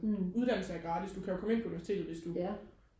uddanne sig gratis du kan jo komme ind på universitetet hvis du